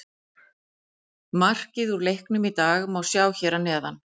Markið úr leiknum í dag má sjá hér að neðan